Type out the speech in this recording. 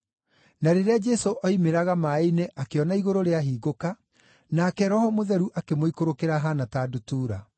Na rĩrĩa Jesũ oimĩraga maaĩ-inĩ akĩona igũrũ rĩahingũka, nake Roho Mũtheru akĩmũikũrũkĩra ahaana ta ndutura.